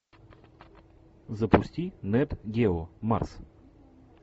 запусти нет гео марс